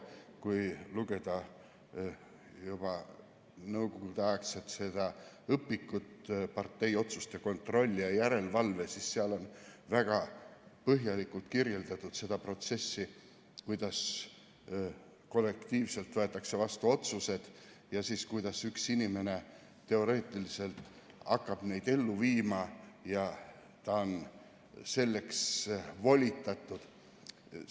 Kui lugeda juba nõukogudeaegset õpikut partei otsuste kontrolli ja järelevalve kohta, siis seal on väga põhjalikult kirjeldatud seda protsessi, kuidas kollektiivselt võetakse vastu otsused ja kuidas üks inimene teoreetiliselt hakkab neid ellu viima ja ta on selleks volitatud.